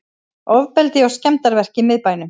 Ofbeldi og skemmdarverk í miðbænum